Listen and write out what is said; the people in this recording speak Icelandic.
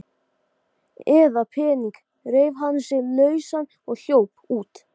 Og á meðan gat fyrirtæki mitt verið komið í rúst.